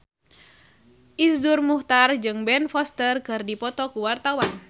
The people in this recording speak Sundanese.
Iszur Muchtar jeung Ben Foster keur dipoto ku wartawan